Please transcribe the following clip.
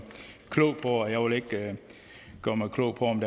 klog på og jeg vil ikke gøre mig klog på om